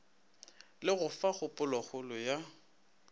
le go fa kgopolokgolo ya